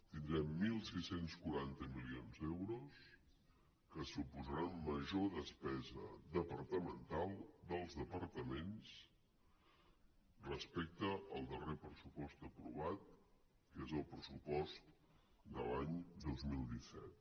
tindrem setze quaranta milions d’euros que suposaran major despesa departamental dels departaments respecte al darrer pressupost aprovat que és el pressupost de l’any dos mil disset